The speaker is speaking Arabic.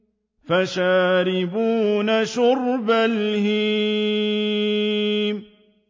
فَشَارِبُونَ شُرْبَ الْهِيمِ